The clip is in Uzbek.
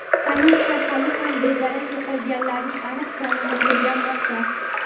Politsiya hali ham bedarak yo‘qolganlarning aniq sonini o‘rganmoqda.